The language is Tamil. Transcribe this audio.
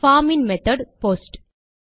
form in method post